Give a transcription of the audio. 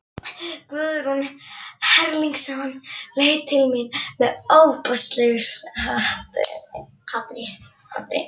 Guðrún Erlingsson leit til mín með ofboðslegu hatri.